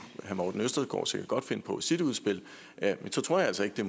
herre morten østergaard sikkert godt finde på i sit udspil så tror jeg altså ikke